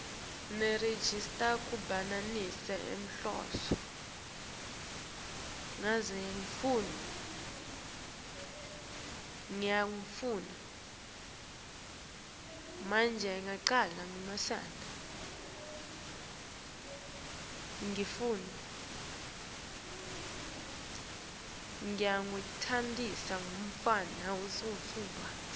nerejista kuhambisana nenhloso